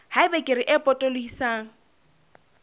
ha eba kere e potolohisang